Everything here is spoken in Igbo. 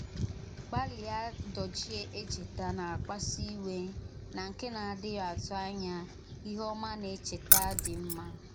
Gbàlìá dòchìè èchètà na-àkpàsù íwè na nke na-àdíghì àtụ̀ ànyà íhè òmà na èchètà dị mma.